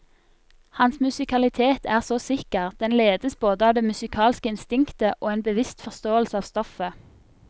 Hans musikalitet er så sikker, den ledes både av det musikalske instinktet og en bevisst forståelse av stoffet.